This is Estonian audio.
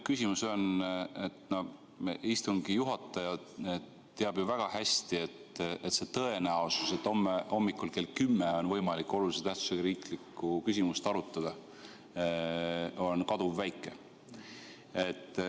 Istungi juhataja teab ju väga hästi, et see tõenäosus, et homme hommikul kell 10 on võimalik olulise tähtsusega riiklikku küsimust arutada, on kaduvväike.